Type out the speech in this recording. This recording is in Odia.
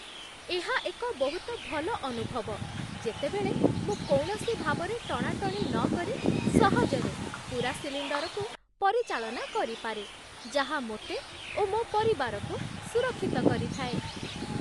ଏହା ଏକ ବହୁତ ଭଲ ଅନୁଭବ ଯେତେବେଳେ ମୁଁ କୌଣସି ଭାବରେ ଟଣାଟଣି ନକରି ସହଜରେ ପୂରା ସିଲିଣ୍ଡରକୁ ପରିଚାଳନା କରିପାରେ, ଯାହା ମୋତେ ଓ ମୋ ପରିବାରକୁ ସୁରକ୍ଷିତ କରିଥାଏ।